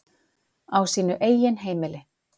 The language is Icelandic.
Á sínu eigin heimili.